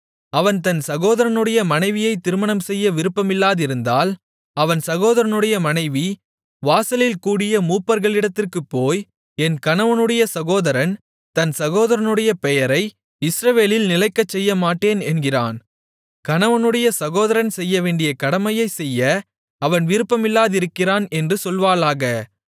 அவன் தன் சகோதரனுடைய மனைவியைத் திருமணம்செய்ய விருப்பமில்லாதிருந்தால் அவன் சகோதரனுடைய மனைவி வாசலில் கூடிய மூப்பர்களிடத்திற்குப் போய் என் கணவனுடைய சகோதரன் தன் சகோதரனுடைய பெயரை இஸ்ரவேலில் நிலைக்கச்செய்யமாட்டேன் என்கிறான் கணவனுடைய சகோதரன் செய்யவேண்டிய கடமையைச் செய்ய அவன் விருப்பமில்லாதிருக்கிறான் என்று சொல்வாளாக